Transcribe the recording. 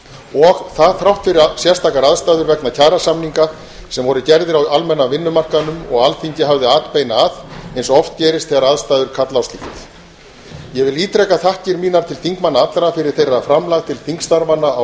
og það þrátt fyrir sérstakar aðstæður vegna kjarasamninga sem voru gerðir á almenna vinnumarkaðnum og alþingi hafði atbeina að eins og oft gerist þegar aðstæður kalla á slíkt ég vil ítreka þakkir mínar til þingmanna allra fyrir þeirra framlag til þingstarfanna á